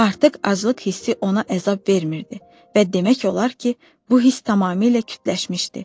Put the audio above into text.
Artıq aclıq hissi ona əzab vermirdi və demək olar ki, bu hiss tamamilə kütləşmişdi.